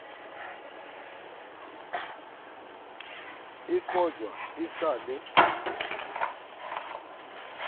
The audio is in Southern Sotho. e kojwa e sa le